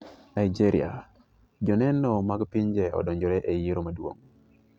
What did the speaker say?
Nigeria; joneno mag pinje odonjore e yiero maduong'.